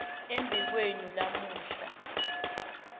embi kwenu lamuhla